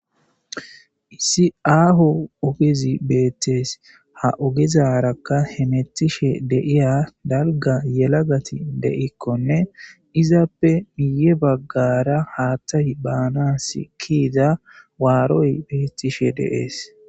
Issi aho ogezzi bettes ha oggezara hametishen dizza dalgga yelagathi de'ikonne izzappe guye bagara haththay banas ke'iza waroy betteshe de'es.